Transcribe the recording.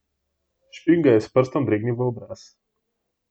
Špik ga je s prstom dregnil v obraz.